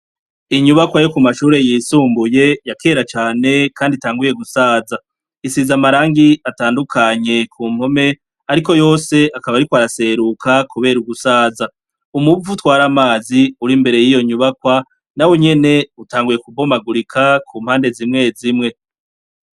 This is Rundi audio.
Inyubakwa yo kumashure yisumbuye ya kera cane kandi yatanguye gusaza isize amarangi atandukanye kumpome ariko yose akaba ariko araseruka kubera ugusaza umuvu utwara amazi imbere yiyo nyubakwa nawonyene utanguye kubomagurika kumpande zimwe zimwe